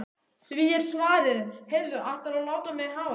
Því er svarað: Heyrðu ætlarðu að láta mig hafa þau?